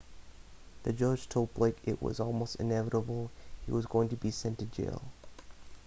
the judge told blake it was almost inevitable he was going to be sent to jail